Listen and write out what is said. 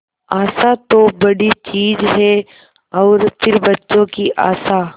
आशा तो बड़ी चीज है और फिर बच्चों की आशा